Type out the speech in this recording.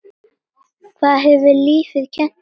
Hvað hefur lífið kennt þér?